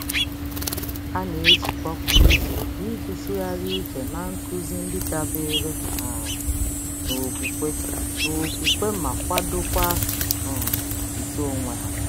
Ha na-ezukọ kwa izuụka iji tụgharị uche na nkuzi ndị dabere um n'okwukwe n'okwukwe ma kwadokwa um uto onwe ha.